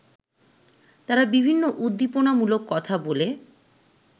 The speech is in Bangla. তারা বিভিন্ন উদ্দীপনামূলক কথা বলে